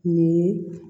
Nin ye